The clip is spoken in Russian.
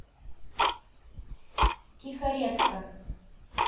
тихорецка